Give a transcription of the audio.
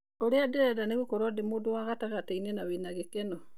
Urĩa ndĩrenda nĩgũkorwo ndĩ mũndũwa gatagatiĩnĩ na wĩna gĩkeno.